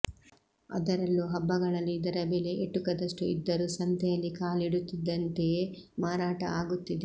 ಅದರಲ್ಲೂ ಹಬ್ಬಗಳಲ್ಲಿ ಇದರ ಬೆಲೆ ಎಟುಕದಷ್ಟು ಇದ್ದರೂ ಸಂತೆಯಲ್ಲಿ ಕಾಲಿಡುತ್ತಿದ್ದಂತೆಯೇ ಮಾರಾಟ ಆಗುತ್ತಿದೆ